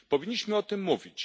Powinniśmy o tym mówić.